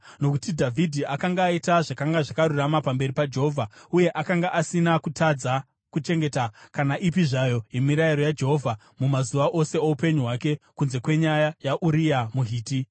Nokuti Dhavhidhi akanga aita zvakanga zvakarurama pamberi paJehovha uye akanga asina kutadza kuchengeta kana ipi zvayo yemirayiro yaJehovha mumazuva ose oupenyu hwake, kunze kwenyaya yaUria muHiti.